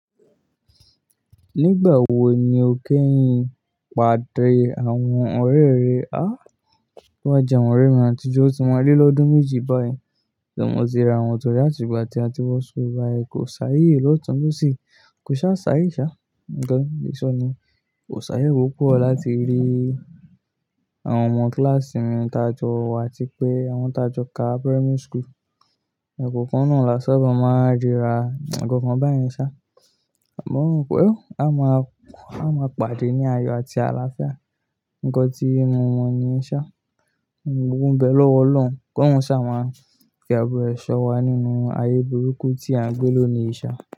Nígbà wo ni o kẹ́yin pàdé àwọn ọ̀rẹ́ rẹ? A. Toba jẹ́ àwọn ọ̀rẹ́ mi àtijọ́ otí maa lé lọ́dún méjì báyìí tí mo ti rà wọ́n torí àtìgbà tí a ti wọ̀ school báyi kò sáayè lọ̀tún lọ̀sì, kò ṣáá sáayè ṣáá. Ǹkan ti mo le so niyen, kò sáayè wọ́pọ̀ láti rí àwọn ọmọ kíláàsì mi tajọ wa ti pé àwọn tajọ ká primary school. Ẹ̀kọ̀kan náà làṣa ba máa ríra, ẹ̀kọ̀kan báyìí ṣáá. Àmọ́ wọ́n wí pé ó, a máa, a máa pàdé ní ayọ̀ àti àlàáfíà. Ǹkan tí mo mọ ni ṣáá. Òun gbọ́gbo nbẹ́ lọ́wọ́ Ọlọ́run kó hun ṣáá máa fi àbọ̀ ẹ́ ṣọ̀ wá nínú ayé burúkú tí à ń gbé ló ni ṣáá.